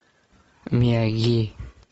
мияги